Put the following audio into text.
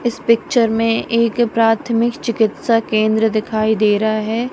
इस पिक्चर में एक प्राथमिक चिकित्सा केंद्र दिखाई दे रहा है।